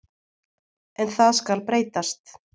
En það skal breytast.